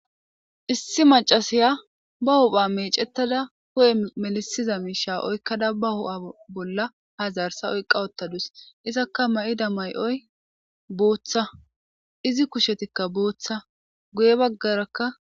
Issi macasiya ba hupha meecettada hu'e melisiza miisha oykkada ba bolla hazarsa oyqawottadus izakka ma'da mayoy booththa izi kushetikka booththa guye baggarakka.